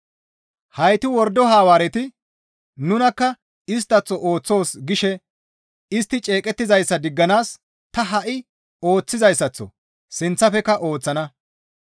Heyti wordo Hawaareti, «Nunikka isttaththo ooththoos» gishe istti ceeqettizayssa digganaas ta ha7i ooththizayssaththo sinththafekka ooththana.